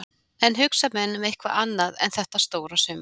En hugsa menn um eitthvað annað en þetta stóra sumar?